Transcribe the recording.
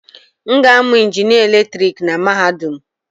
M ga-amụ injinịa eletrik na mahadum.